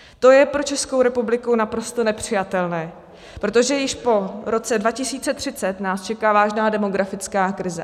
To je pro Českou republiku naprosto nepřijatelné, protože již po roce 2030 nás čeká vážná demografická krize.